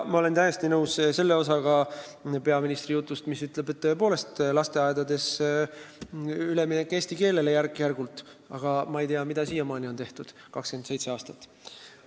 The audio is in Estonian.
Ma olen täiesti nõus selle osaga peaministri jutust, mille järgi tuleb lasteaedades järk-järgult eesti keelele üle minna, aga ma ei tea, mida on siiamaani ehk 27 aastat tehtud.